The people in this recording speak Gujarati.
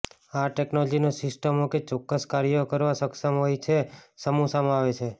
આ ટેકનોલોજીનો સિસ્ટમો કે ચોક્કસ કાર્યો કરવા સક્ષમ હોય છે સમૂહ સમાવે છે